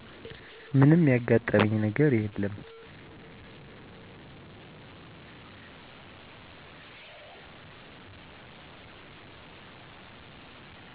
ምንም ያጋጠመኝ ነገር የለም